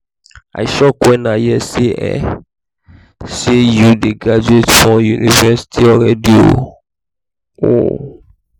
i shock wen i hear um say you dey graduate from university already um